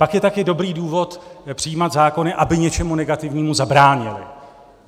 Pak je taky dobrý důvod přijímat zákony, aby něčemu negativnímu zabránily.